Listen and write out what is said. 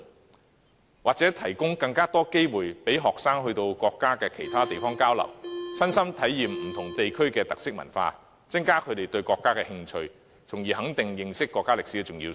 我們也要提供更多機會，讓學生到國家其他地方交流，親身體驗不同地區的特色文化，增加他們對國家的興趣，從而肯定認識國家歷史的重要性。